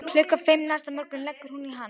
Klukkan fimm næsta morgun leggur hún í hann.